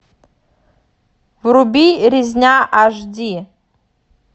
вруби резня аш ди